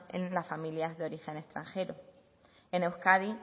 en las familias de origen extranjero en euskadi